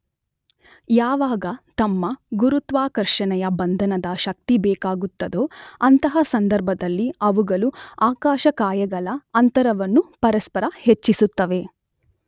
ಯಾವಾಗ ತಮ್ಮ ಗುರುತ್ವಾಕರ್ಷಣೆಯ ಬಂಧನದ ಶಕ್ತಿ ಬೇಕಾಗುತ್ತದೊ ಅಂಥಹ ಸಂದರ್ಭದಲ್ಲಿ ಅವುಗಳು ಆಕಾಶಕಾಯಗಳ ಅಂತರವನ್ನು ಪರಸ್ಪರ ಹೆಚ್ಚಿಸುತ್ತವೆ.